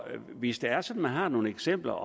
hvis det er sådan at man har nogle eksempler